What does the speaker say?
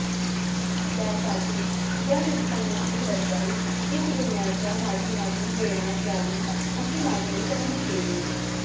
त्यासाठी या नुकसानीची भरपाई पिक विम्याच्या माध्यमातून देण्यात यावी अशी मागणी त्यांनी केली